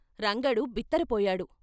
రంగడు బిత్తర పోయాడు